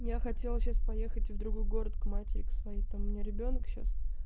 я хотела сейчас поехать в другой город к матери к своей там у меня ребёнок сейчас